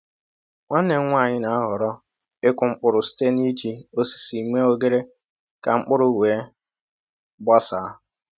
Nwanne m nwanyị na-ahọrọ ịkụ mkpụrụ site n’iji osisi mee oghere ka mkpụrụ wee gbasaa